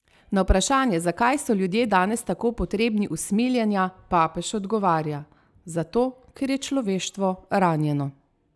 Na vprašanje, zakaj so ljudje danes tako potrebni usmiljenja, papež odgovarja: "Zato, ker je človeštvo ranjeno.